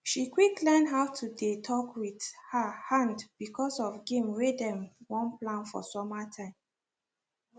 she quick learn how to dey talk with her hand becasue of game wey dem wan play for summer time